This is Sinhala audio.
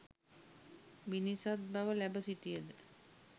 මිනිසත් බව ලැබ සිටියද